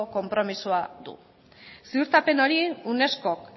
konpromisoa du ziurtapen hori unescok